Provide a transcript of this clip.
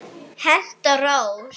Hneta Rós.